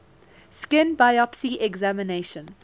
skin biopsy examination